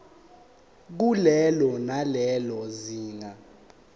kulelo nalelo zinga